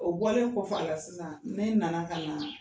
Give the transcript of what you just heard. O bɔlen kɔ f'a la sisan ne na na ka na